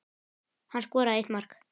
Hann skoraði eitt mark.